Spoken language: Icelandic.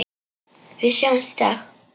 Við sjáumst í dag.